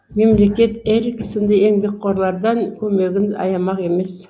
мемлекет эрик сынды еңбекқорлардан көмегін аямақ емес